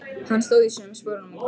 Hann stóð í sömu sporunum góða stund.